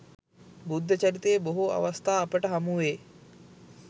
බුද්ධ චරිතයේ බොහෝ අවස්ථා අපට හමුවේ.